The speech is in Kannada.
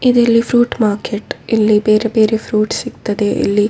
ಇದಿಲ್ಲಿ ಫ್ರೂಟ್‌ ಮಾರ್ಕೆಟ್‌ ಇಲ್ಲಿ ಬೇರೆ ಬೇರೆ ಫ್ರೂಟ್‌ ಸಿಗ್ತದೆ ಇಲ್ಲಿ --